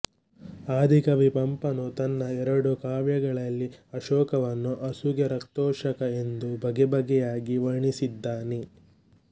ಆದಿಕವಿ ಪಂಪನೂ ತನ್ನ ಎರಡು ಕಾವ್ಯಗಳಲ್ಲಿ ಅಶೋಕವನ್ನು ಅಸುಗೆರಕ್ತಾಶೋಕ ಎಂದು ಬಗೆ ಬಗೆಯಾಗಿ ವರ್ಣಿಸಿದ್ದಾನೆ